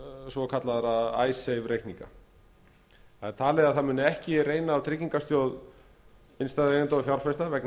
svokallaðra icesave reikninga það er talið er að ekki muni reyna á tryggingarsjóð innstæðueigenda og fjárfesta vegna